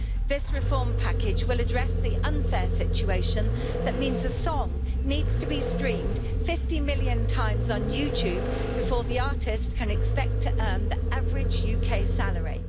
This reform package will address the unfair situation that means a song needs to be streamed 50 million times on YouTube before the artist can expect to earn the average UK salary.